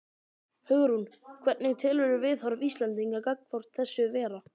Hugrún: Hvernig telurðu viðhorf Íslendinga gagnvart þessu vera?